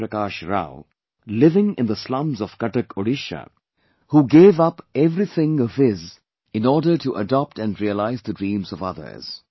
Prakash Rao, living in the slums of Cuttack, Orissa, who gave up everything of his in order to adopt and realize the dreams of others